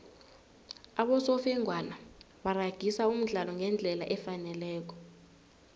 abosofengwana baragisa umdlalo ngendlela efaneleko